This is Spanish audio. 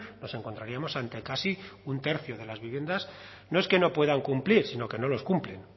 nos encontraríamos ante casi un tercio de las viviendas no es que no puedan cumplir sino que no los cumplen